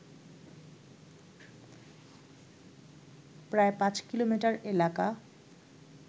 প্রায় পাঁচ কিলোমিটার এলাকা